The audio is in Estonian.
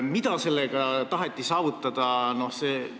Mida sellega taheti saavutada?